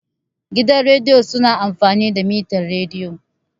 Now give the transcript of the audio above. Gidan rediyo su na amfani da mitar rediyo